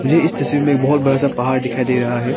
ये इस तस्वीर मे एक बहोत बड़ा सा पहाड़ दिखाई दे रहा है।